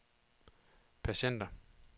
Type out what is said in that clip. patienter